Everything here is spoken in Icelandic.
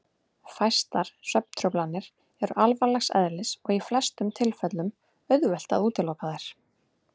Fæstar svefntruflanir eru alvarlegs eðlis og í flestum tilfellum auðvelt að útiloka þær.